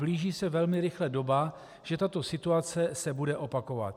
Blíží se velmi rychle doba, že tato situace se bude opakovat.